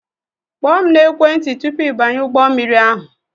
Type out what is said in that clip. Kpọọ m na-ekwenti tụpụ I banye ụgbọ mmiri ahụ!